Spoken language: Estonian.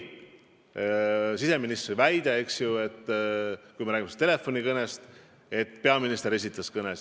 Oli siseministri väide – jutt on tollest telefonikõnest –, et peaminister esitas küsimusi.